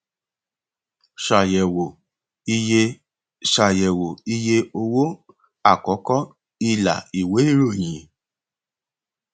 ṣàyẹwò iye ṣàyẹwò iye owó àkọkọ ilà ìwé ìròyìn